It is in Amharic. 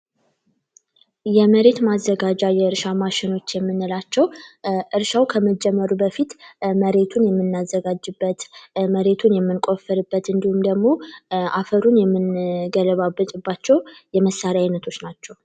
የመሬት ማዘጋጃ የእርሻ ማሸኖች የምንላቸው እርሻው ከመጀመሩ በፊት መሬቱን የምናዘጋጅበት፤ መሬቱን የምንቆፍርበት እንዲሁም ደግሞ አፈሩን የምንገለባብጥባቸው የመሳሪያ ዓይነቶች ናቸው።